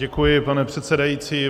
Děkuji, pane předsedající.